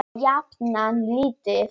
Og jafnan lítið.